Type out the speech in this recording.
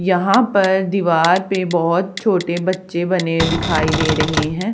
यहां पर दीवार पे बहोत छोटे बच्चे बने दिखाई दे रहे हैं।